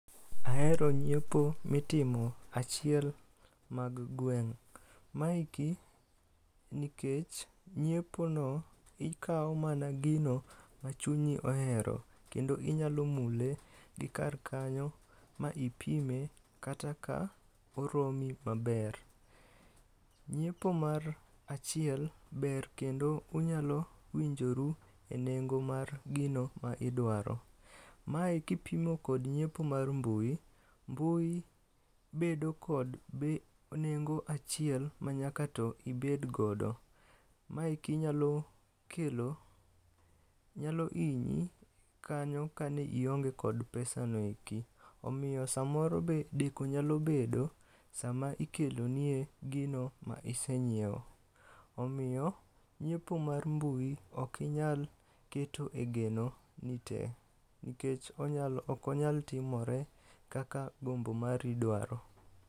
Ahero ng'iepo mitimo achiel mag gweng'. Maendi nikech ng'iepono ikawo mana gino machunyi ohero kendo inyalo mule gi kar kanyo ma ipime kata ka oromi maber. Nyiepo mar achiel ber kendo unyalo winjoru e nengo mar gino ma idwaro. Mae kipimo kod nyiepo mar mbui, mbui bedo kod nengo achiel manyaka to ibed godo. Mae kinyalo kelo nyalo hinyi kanyo kane ionge kod pesa no eki. Omiyo samoro be deko nyalo bedo sama ikelöo nie gino ma ise nyiewo. Omiyo nyiepo mar mbui ok inyal ketoe geno ni tee nikech onyal ok onyal timore kaka gombo mari dwaro.